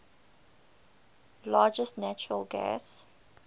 largest natural gas